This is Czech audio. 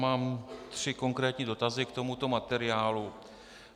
Mám tři konkrétní dotazy k tomuto materiálu.